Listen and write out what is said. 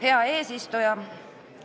Hea eesistuja!